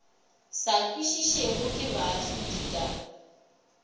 sa kwešišwego ke baahlodi ka